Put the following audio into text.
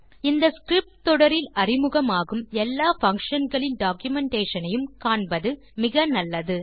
இந்த ஸ்கிரிப்ட் தொடரில் அறிமுகமாகும் எல்லா பங்ஷன் களின் டாக்குமென்டேஷன் ஐயும் காண்பது மிக நல்லது